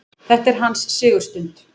Þetta var hans sigurstund.